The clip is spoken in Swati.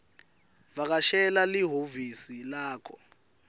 vakashela lihhovisi lakho